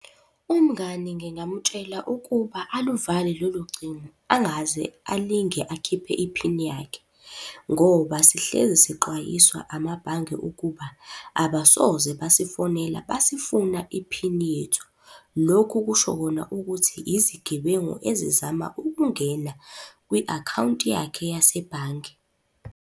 Umngani ngingamutshela ukuba aluvale lolo cingo, angaze alinge akhiphe iphini yakhe ngoba sihlezi sixwayiswa amabhange ukuba, abasoze basifonela basifuna iphini yethu. Lokhu kusho kona ukuthi yizigebengu ezizama ukungena kwi-akhawunti yakhe yasebhange.